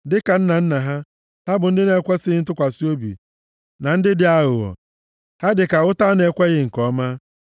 Dịka nna nna ha, ha bụ ndị na-ekwesighị ntụkwasị obi, na ndị aghụghọ, ha dịka ụta a na-ekweghị nke ọma.